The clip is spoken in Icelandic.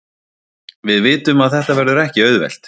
Við vitum að þetta verður ekki auðvelt.